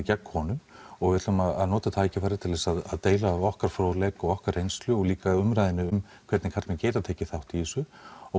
gegn konum og við ætlum að nota tækifærið til þess að deila af okkar fróðleik og okkar reynslu og líka umræðunni um hvernig karlmenn geta tekið þátt í þessu